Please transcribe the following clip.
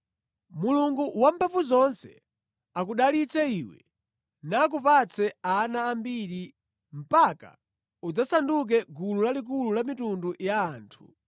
Mulungu Wamphamvuzonse akudalitse iwe nakupatse ana ambiri mpaka udzasanduke gulu lalikulu la mitundu ya anthu.